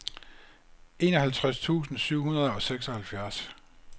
enoghalvtreds tusind syv hundrede og seksoghalvfjerds